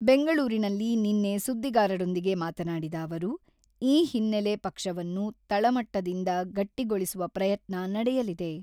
ಬೆಂಗಳೂರಿನಲ್ಲಿ ನಿನ್ನೆ ಸುದ್ದಿಗಾರರೊಂದಿಗೆ ಮಾತನಾಡಿದ ಅವರು, ಈ ಹಿನ್ನೆಲೆ, ಪಕ್ಷವನ್ನು ತಳಮಟ್ಟದಿಂದ ಗಟ್ಟಿಗೊಳಿಸುವ ಪ್ರಯತ್ನ ನಡೆಯಲಿದೆ.